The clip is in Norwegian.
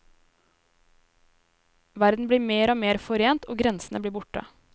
Verden blir mer og mer forent, og grensene blir borte.